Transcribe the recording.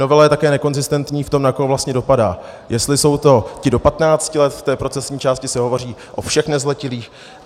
Novela je také nekonzistentní v tom, na koho vlastně dopadá, jestli jsou to ti do 15 let - v té procesní části se hovoří o všech nezletilých.